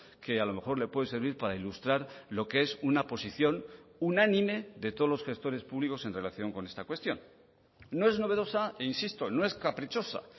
que a lo mejor le puede servir para ilustrar lo que es una posición unánime de todos los gestores públicos en relación con esta cuestión no es novedosa e insisto no es caprichosa